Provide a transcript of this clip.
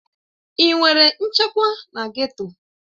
Ị nwere nchekwa na geto?